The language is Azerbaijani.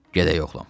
Gedək, oğlum.